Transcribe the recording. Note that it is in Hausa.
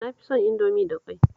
Na fi son Indomie da ƙwai